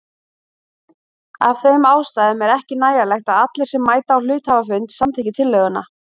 Af þeim ástæðum er ekki nægjanlegt að allir sem mæta á hluthafafund samþykki tillöguna.